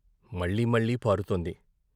మళ్ళీ మళ్ళీ పారుతోంది.